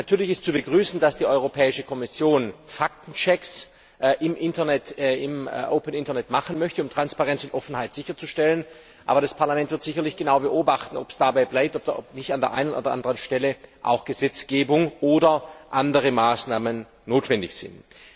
Natürlich ist zu begrüßen, dass die Europäische Kommission Faktenchecks im offenen Internet machen möchte, um Transparenz und Offenheit sicherzustellen, aber das Parlament wird sicherlich genau beobachten, ob es dabei bleibt oder ob nicht an der einen oder anderen Stelle auch Gesetzgebung oder andere Maßnahmen notwendig sind.